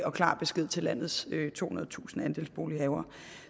og klar besked til landets tohundredetusind andelsbolighavere